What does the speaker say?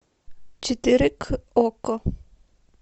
четыре к окко